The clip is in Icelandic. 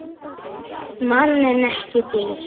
Mann en ekki dýr.